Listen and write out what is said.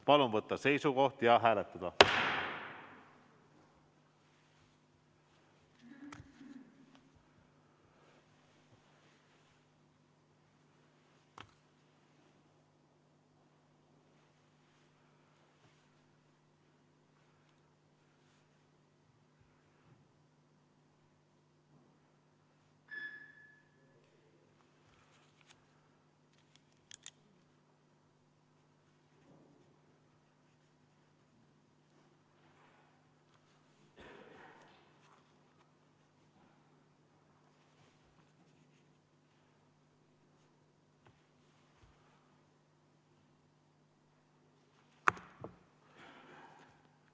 Palun võtta seisukoht ja hääletada!